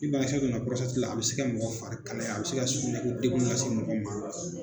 Ni banakisɛ donna la, a be se ka mɔgɔ fari kalaya, a be se ka sukunɛ ko dekun lase mɔgɔ ma.